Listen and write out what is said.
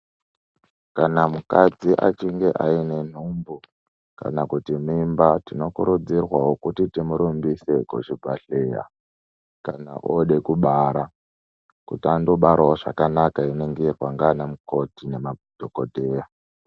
Kana mukadzi achinge aine nhumbu kana kuti mimba, tinokurudzirwawo kuti timurumbise kuchibhedhlera kana ode kubara kuti andobarawo zvakanaka einingirwa nganamukoti nanadhogodheya.